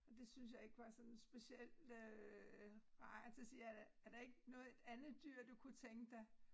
Og det syntes jeg ikke var sådan specielt øh rart så siger jeg da er der ikke noget et andet dyr du kunne tænke dig